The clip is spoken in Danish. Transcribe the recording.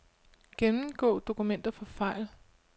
Gennemgå dokumenter for fejl.